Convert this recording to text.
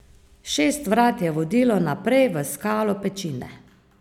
Šest vrat je vodilo naprej v skalo pečine.